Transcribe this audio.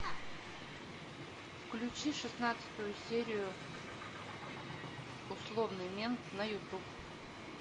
включи шестнадцатую серию условный мент на ютуб